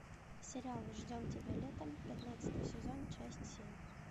сериал ждем тебя летом пятнадцатый сезон часть семь